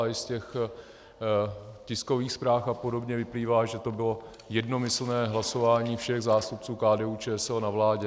A i z těch tiskových zpráv a podobně vyplývá, že to bylo jednomyslné hlasování všech zástupců KDU-ČSL na vládě.